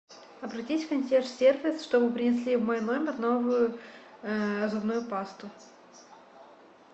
обратись в консьерж сервис чтобы принесли в мой номер новую зубную пасту